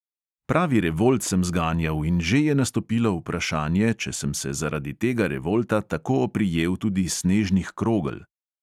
Pravi revolt sem zganjal in že je nastopilo vprašanje, če sem se zaradi tega revolta tako oprijel tudi snežnih krogel.